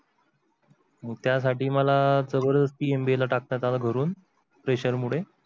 मग त्या साठी मला जबरदस्थी MBA ला टाकता घरून pressure मुळे.